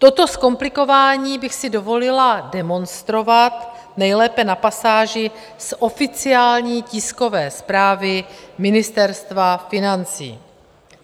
Toto zkomplikování bych si dovolila demonstrovat nejlépe na pasáži z oficiální tiskové zprávy Ministerstva financí.